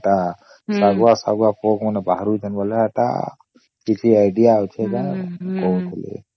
ହଁ ସେଟା ସାଗୁଆ ସାଗୁଆ ପୋକ ବାହାରୁଛନ ବୋଇଲେ ଏଟା କିଛି idea ଅଛେ କି କହୁଥିଲି